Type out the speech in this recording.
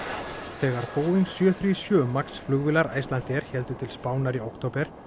þegar Boeing sjö MAX flugvélar Icelandair héldu til Spánar í október